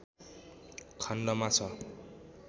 खण्डमा छ